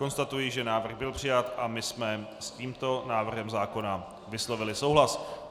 Konstatuji, že návrh byl přijat a my jsme s tímto návrhem zákona vyslovili souhlas.